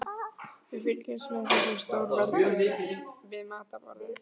Við fylgjumst með þessum stórveldum við matarborðið.